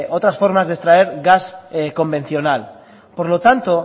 otras formas de extraer gas convencional por lo tanto